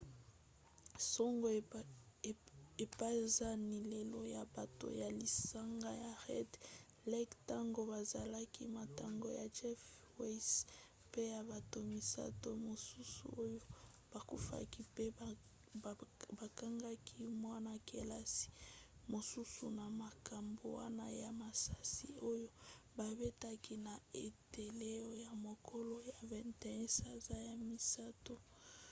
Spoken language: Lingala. sango epanzani lelo na bato ya lisanga ya red lake ntango bazalaki matanga ya jeff weise mpe ya bato misato mosusu oyo bakufaki mpe bakangaki mwana-kelasi mosusu na makambo wana ya masasi oyo babetaki na eteyelo na mokolo ya 21 sanza ya misato